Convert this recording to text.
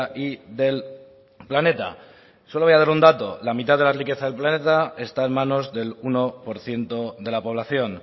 y del planeta solo voy a dar un dato la mitad de la riqueza del planeta está en manos del uno por ciento de la población